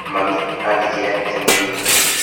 Mami andigire ndĩ mũnini.